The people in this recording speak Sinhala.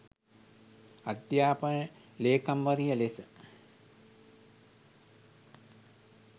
අධ්‍යාපන ලේකම්වරිය ලෙස